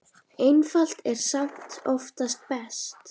Einfalt er samt oftast best.